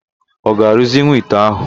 Ọ ga-arụzinwu ite ahụ?